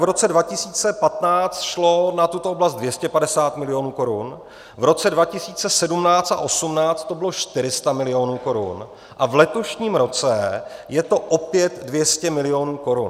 V roce 2015 šlo na tuto oblast 250 milionů korun, v roce 2017 a 2018 to bylo 400 milionů korun a v letošním roce je to opět 200 milionů korun.